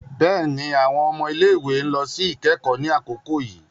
Béèni, awọn ọmọ ile-iwe n lọ si ikẹkọ ni akoko yii